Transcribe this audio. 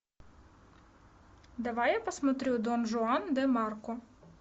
давай я посмотрю дон жуан де марко